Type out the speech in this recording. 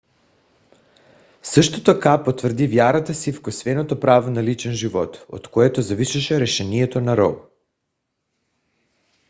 също така потвърди вярата си в косвеното право на личен живот от което зависеше решението на роу